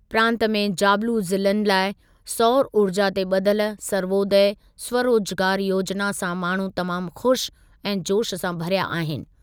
प्रांतु में जाबिलू ज़िलनि लाइ सौर ऊर्जा ते ॿधल सर्वोदय स्वरोजगार योजिना सां माण्हू तमामु ख़ुश ऐं जोशु सां भरिया आहिनि।